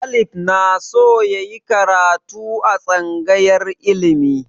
Caleb na so yayi karatu a tsangayar ilimi